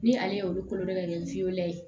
Ni ale ye olu kolo dɔ ka ɲɛ